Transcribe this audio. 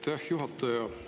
Aitäh, juhataja!